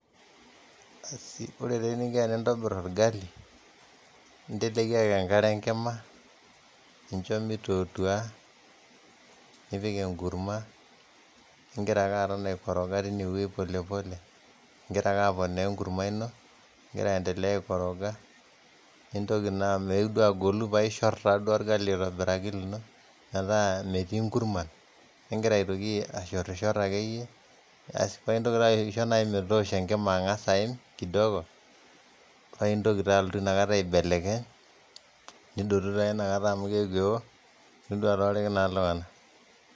Asi, kore taa eninko pee intobir orgali, inteleki ake enkare enkima nincho meitotua nipiki enkurma nengira ake aton aikoroga teine wueji polepole ing'iraa ake aponaa enkurma ino ingira aendelea aikoroga. Nintoki naa meeu duo ag'olu, paa iishor naa duo orgali aitobiraki lino metaa metii inkurman, ning'ira aitoki ashorshor ake iyie aas paa intoki aisho metoosho enkima ang'as aaim kidogo, paa intoki taa alotu ina kata aibelekeny nidotu taa inakata amu keo, nilotu atooriki naa iltung'ana